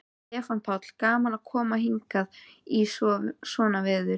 Stefán Páll: Gaman að koma hingað í svona veður?